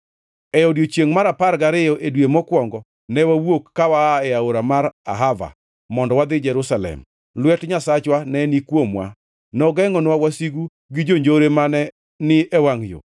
E odiechiengʼ mar apar gariyo e dwe mokwongo ne wawuok ka waa e aora mar Ahava mondo wadhi Jerusalem. Lwet Nyasachwa ne ni kuomwa, nogengʼonwa wasigu gi jonjore mane ni e wangʼ yo.